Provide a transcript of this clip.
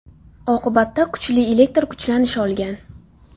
Oqibatda kuchli elektr kuchlanish olgan.